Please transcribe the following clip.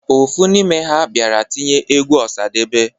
Ofu n'ime ha bịara tinye egwu Ọsadebe.